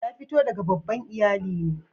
Ya fito daga babban iyallin ne?